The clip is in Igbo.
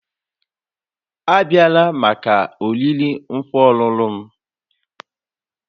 Abịala maka oriri nkwa ọlụlụ m